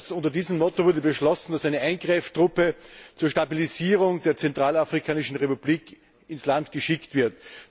Unter diesem Motto wurde beschlossen, dass eine Eingreiftruppe zur Stabilisierung der Zentralafrikanischen Republik ins Land geschickt wird.